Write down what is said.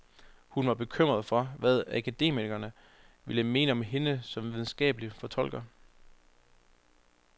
Hun var bekymret for, hvad akademikerne ville mene om hende som videnskabelig fortolker.